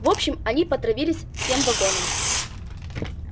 в общем они потравились всем вагоном